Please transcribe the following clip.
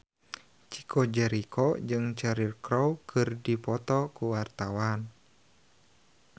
Chico Jericho jeung Cheryl Crow keur dipoto ku wartawan